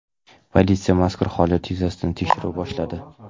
Politsiya mazkur holat yuzasidan tekshiruv boshladi.